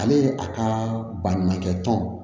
Ale a ka baɲumankɛ tɔn